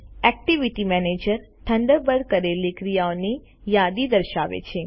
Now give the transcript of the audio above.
activity manager થન્ડરબર્ડમાં કરેલી ક્રિયાઓની યાદી દર્શાવે છે